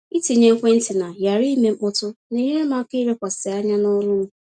Ịtinye ekwentị na ‘ghara ime mkpọtụ’ na-enyere m aka ilekwasị anya n’ọrụ m.